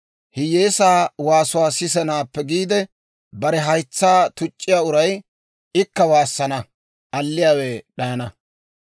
Hiyyeesaa waasuwaa sisanaappe giide, bare haytsaa tuc'c'iyaa uray, ikka waassana; alliyaawe d'ayana.